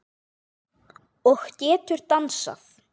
Og getur dansað.